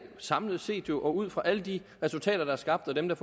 samlet set og ud fra alle de resultater der er skabt og dem der